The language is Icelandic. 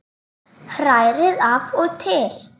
Hrærið af og til.